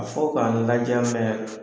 A fɔ k'an laja